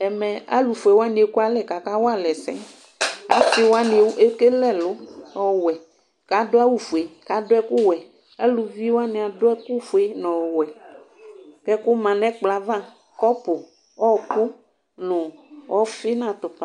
ẽmɛ ɑlụfụɛwạɲi ɛkụɑlé kạkɑwɑlɛsɛ ɑsiwɑɲi ɛkɛlé ẽlụ ɔwẽ ƙɑɗụɑwụfụɛ kɑ ɗuɛkụwẽ ɑlʊviwɑɲi ɑɗụɛkụfụɛ nɔwẽɛkụmɑ ɲɛkploɑvɑ ƙõp õhokụ ɲụ õfi ṅɑtụpɑ